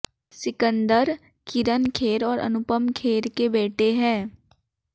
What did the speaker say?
सिकंदर किरण खेर और अनुपम खेर के बेटे हैं